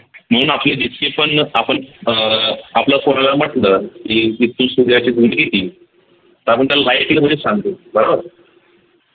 म्हणून आपले जितके पण आपण अह आपण कोणाला म्हटल की किती सूर्याची किती? तर आपण त्याला मधेच सांगतो बरोबर